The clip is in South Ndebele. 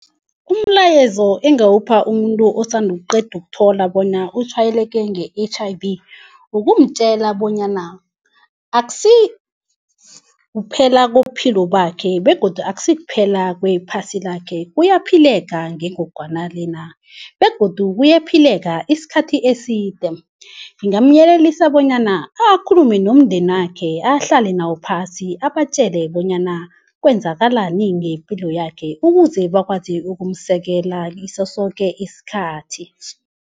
Umlayezo engingawupha umuntu osanda ukuqeda ukuthola bona utshwayeleke nge-H_I_V nokumtjela bonyana akusikuphela kwepilo yakhe begodu akusi kuphela kwephasi lakhe kuyaphileka ngengogwana le na begodu kuyaphileka isikhathi eside ngingamyelelisa bonyana akhulume nomndenakhe ahlale nawo phasi abatjele bonyana kwenzakalani ngepilo yakhe ukuze bakwazi ukumsekela ngaso soke isikhathi